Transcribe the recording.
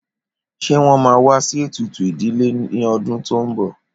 Ṣé wón máa wá sí ètùtù ìdílé ní ọdún tó ń bọ̀?